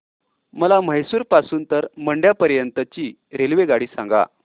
मला म्हैसूर पासून तर मंड्या पर्यंत ची रेल्वेगाडी सांगा